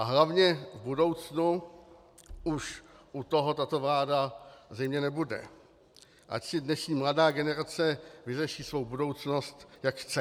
A hlavně v budoucnu už u toho tato vláda zřejmě nebude, ať si dnešní mladá generace vyřeší svou budoucnost, jak chce.